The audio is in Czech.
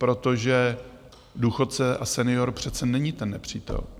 Protože důchodce a senior přece není ten nepřítel.